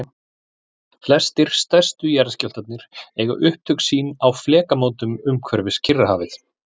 flestir stærstu jarðskjálftarnir eiga upptök sín á flekamótum umhverfis kyrrahafið